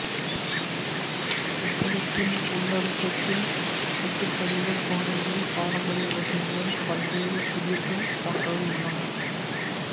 புத்தகத்தின் உள்ளடக்கத்தில் கட்டுக்கதைகள் பாடல்கள் பாரம்பரிய இலக்கியங்கள் பல்வேறு புதிர்கள் போன்றவை உள்ளன